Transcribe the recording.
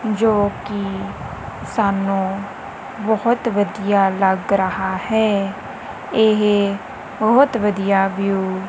ਜੋ ਕੀ ਸਾਨੂੰ ਬੋਹੁਤ ਵਧੀਆ ਲੱਗ ਰੇਹਾ ਹੈ ਇਹ ਬੋਹੁਤ ਵਧੀਆ ਵਿਊ --